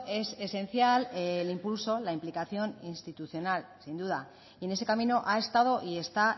es esencial el impulso la implicación institucional sin duda y en ese camino ha estado y está